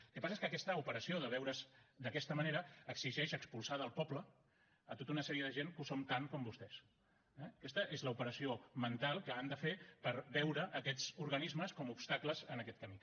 el que passa és que aquesta operació de veure’s d’aquesta manera exigeix expulsar del poble a tota una sèrie de gent que ho som tant com vostès eh aquesta és l’operació mental que han de fer per veure aquests organismes com a obstacles en aquest camí